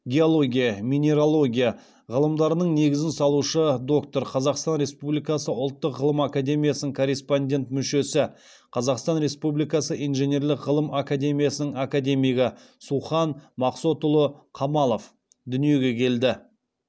геология минералогия ғылымдарының негізін салушы докторы қазақстан республикасы ұлттық ғылым академиясының корреспондент мүшесі қазақстан республикасы инженерлік ғылым академиясының академигі сухан мақсотұлы қамалов дүниеге келді